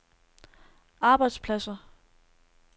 arbejdspladser